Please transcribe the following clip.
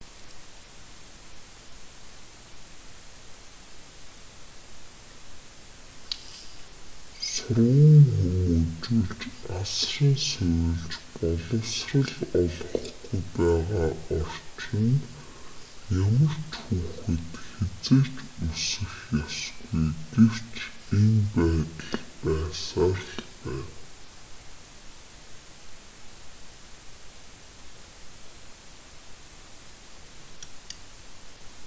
сурган хүмүүжүүлж асран сувилж боловсрол олгохгүй байгаа орчинд ямар ч хүүхэд хэзээ ч өсөх ёсгүй гэвч энэ байдал байсаар л байна